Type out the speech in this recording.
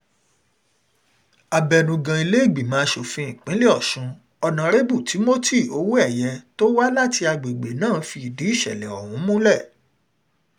abẹnugan ilé-ìgbìmọ̀ asòfin ilé-ìgbìmọ̀ asòfin ìpínlẹ̀ ọ̀sùn honarebu timothy owóẹ̀yẹ tó wá láti agbègbè náà fìdí ìsẹ̀lẹ̀ ọ̀hún múlẹ̀